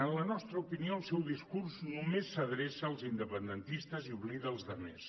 en la nostra opinió el seu discurs només s’adreça als independentistes i oblida els altres